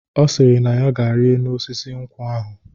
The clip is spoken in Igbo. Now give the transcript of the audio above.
Ọ sịrị na ya ga-enyi enu osisi nkwụ ahụ.